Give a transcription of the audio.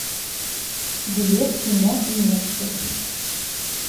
билет кино и немцы